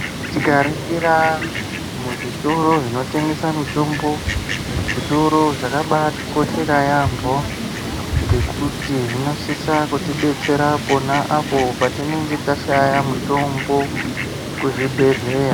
Tikaringira muzvitoro zvinotengesa mitombo zvitoro zvakabatikoshera yaambo ngekuti zvinosisa kutidetsera pona apo patinenge tashaya mutombo kuzvibhedheya.